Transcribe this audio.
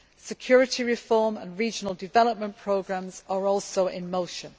Security reform and regional development programmes are also in motion.